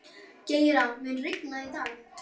Geira, mun rigna í dag?